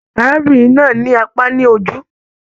Arábìnrin náà ní àpá ní ojú.